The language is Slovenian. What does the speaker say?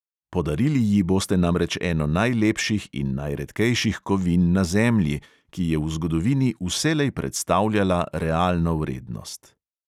Podarili ji boste namreč eno najlepših in najredkejših kovin na zemlji, ki je v zgodovini vselej predstavljala realno vrednost.